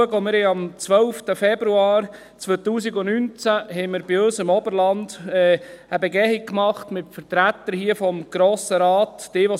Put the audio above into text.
Wir haben am 12. Februar 2019 bei uns im Oberland eine Begehung mit Vertretern des Grossen Rates gemacht.